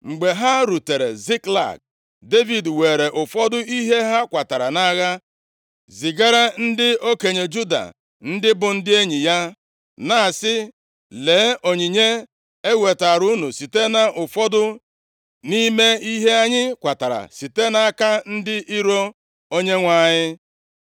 Mgbe ha rutere Ziklag, Devid weere ụfọdụ ihe ha kwatara nʼagha zigara ndị okenye Juda, ndị bụ ndị enyi ya, na-asị, “Lee onyinye ewetaara unu site nʼụfọdụ nʼime ihe anyị kwatara site nʼaka ndị iro Onyenwe anyị.”